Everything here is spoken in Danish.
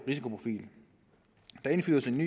jan